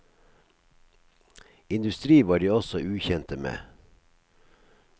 Industri var de også ukjente med.